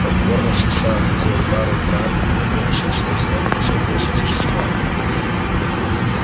покорно снося от людей удары и брань он вымещал свою злобу на слабейших существах